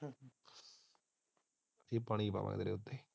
ਕਿ ਪਾਣੀ ਪਾਵਾ ਤੇਰੇ ਉਤੇ ਹਾਂ।